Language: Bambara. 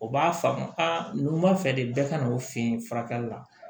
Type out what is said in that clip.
O b'a faamu aa numan fɛ de bɛɛ ka n'o fɛ yen furakɛli la